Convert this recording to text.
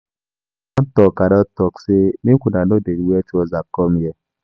I don talk i don talk ay make una no dey wear trouser come here.